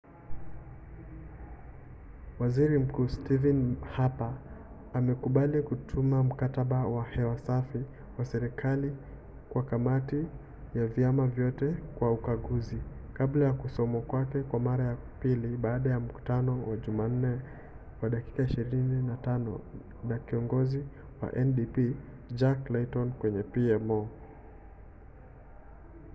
waziri mkuu stephen harper amekubali kutuma ‘mkataba wa hewa safi’ wa serikali kwa kamati ya vyama vyote kwa ukaguzi kabla ya kusomwa kwake kwa mara ya pili baada ya mkutano wa jumanne wa dakika 25 na kiongozi wa ndp jack layton kwenye pmo